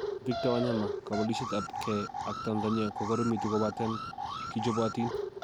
Victor Wanyama: Kobelisiet ab kee ak Tanzania kokoromitu kobaten kichobotin